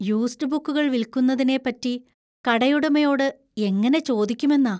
Used ബുക്കുകള്‍ വിൽക്കുന്നതിനെ പറ്റി കടയുടമയോട് എങ്ങനെ ചോദിക്കുമെന്നാ.